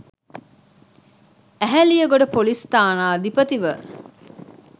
Eheliyagoda ‍police ස්ථානාධිපතිව